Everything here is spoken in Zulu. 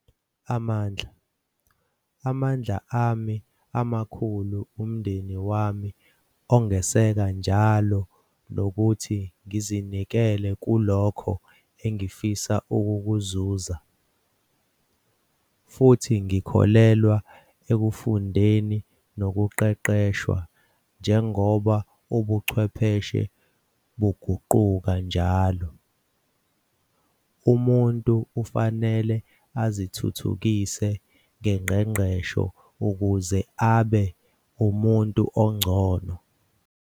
Amandla - Amandla ami amakhulu ngumndeni wami ongeseka njalo nokuthi ngizinikele kulokho engifisa ukukuzuza. Futhi ngikholelwa ekufundeni nokuqeqeshwa, njengoba ubuchwepheshe buguquka njalo. Umuntu kufanele azithuthukise ngengqeqesho ukuze abe ngumuntu ongcono.